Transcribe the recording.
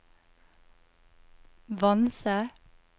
Vanse